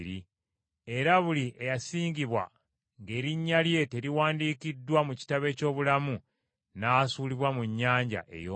Era buli eyasangibwa ng’erinnya lye teriwandiikiddwa mu kitabo eky’obulamu, n’asuulibwa mu nnyanja ey’omuliro.